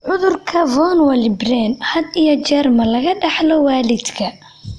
Cudurka von Willebrand had iyo jeer ma laga dhaxlaa waalidka?